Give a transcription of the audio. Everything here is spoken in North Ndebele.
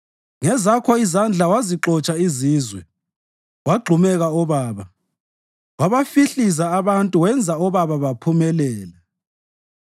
Ngezakho izandla wazixotsha izizwe wagxumeka obaba; wabahlifiza abantu wenza obaba baphumelela.